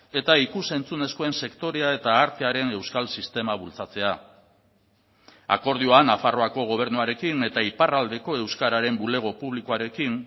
eta ikus entzunezkoen sektorea eta artearen euskal sistema bultzatzea akordioan nafarroako gobernuarekin eta iparraldeko euskararen bulego publikoarekin